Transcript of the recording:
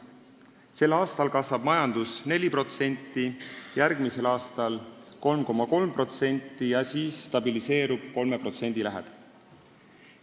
Sel aastal kasvab majandus 4%, järgmisel aastal 3,3% ja siis stabiliseerub kasv 3% lähedal.